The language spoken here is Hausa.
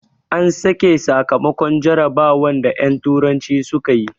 An saki sakamakon jarabawan da en turanci suka yi